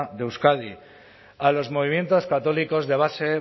de euskadi a los movimientos católicos de base